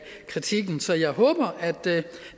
kritikken så jeg håber at det